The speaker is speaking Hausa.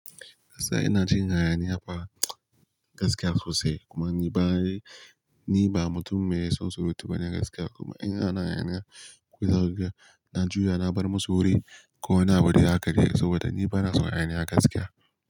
Gaskiya ina jin haya ni yafa gaskiya so sai kuma ni ba ni ba mutum mai son surutu bane gaskiya kuma in ana haya ni ya zakuga na juya na bar masu wurin ko wani abudai haka dai saboda ni bana son a haya niya gaskiya.